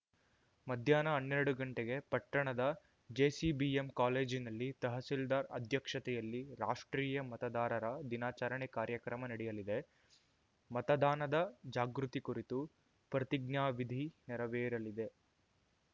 ಮಧ್ಯಾಹ್ನ ಹನ್ನೆರಡು ಗಂಟೆಗೆ ಪಟ್ಟಣದ ಜೆಸಿಬಿಎಂ ಕಾಲೇಜಿನಲ್ಲಿ ತಹಸೀಲ್ದಾರ್‌ ಅಧ್ಯಕ್ಷತೆಯಲ್ಲಿ ರಾಷ್ಟ್ರೀಯ ಮತದಾರರ ದಿನಾಚಾರಣೆ ಕಾರ್ಯಕ್ರಮ ನಡೆಯಲಿದೆ ಮತದಾನದ ಜಾಗೃತಿ ಕುರಿತು ಪ್ರತಿಜ್ಞಾವಿಧಿ ನೆರವೇರಲಿದೆ